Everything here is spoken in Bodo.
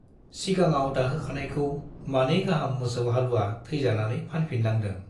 सिगाङाव दाहोखानायखौ मानै गाहाम मोसौ हालुवा थैजानानै फानफिननांदों।